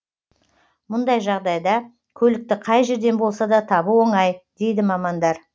мұндай жағдайда көлікті қай жерден болса да табу оңай дейді мамандар